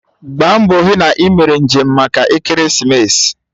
Gbaa mbọ hụ na ị mere njem maka ekeresimesi